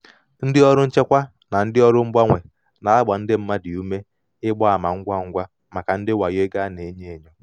ndị ọrụ nchekwa na ndị ọrụ mgbanwe na-agba ndị mmadụ ume ịgba ama ngwa ngwa maka ndị wayo ego a ego a na-enyo enyo.